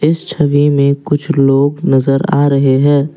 छवि में कुछ लोग नजर आ रहे हैं।